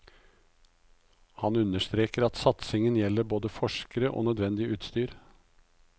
Han understreker at satsingen gjelder både forskere og nødvendig utstyr.